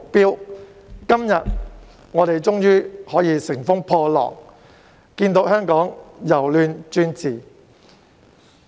我們今天終於可以乘風破浪，看見香港由亂轉治。